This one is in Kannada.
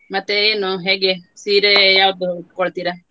ಮತ್ತೆ ಏನು ಹೇಗೆ ಸೀರೆ ಯಾವುದು ಉಟ್ಕೊಳ್ತಿರಾ?